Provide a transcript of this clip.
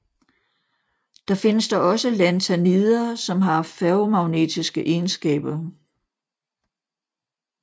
Der findes dog også Lanthanider som har ferromagnetiske egenskaber